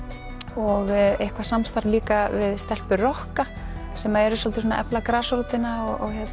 og eitthvað samstarf líka við stelpur rokka sem eru svolítið að efla grasrótina